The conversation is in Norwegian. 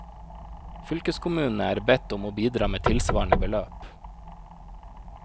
Fylkeskommunene er bedt om å bidra med tilsvarende beløp.